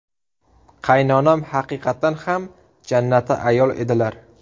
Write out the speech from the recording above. Qaynonam haqiqatdan ham jannati ayol edilar.